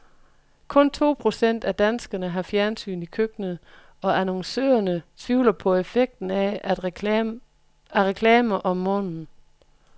Kun to procent af danskerne har fjernsyn i køkkenet, og annoncørerne tvivler på effekten af at reklamer om morgenen.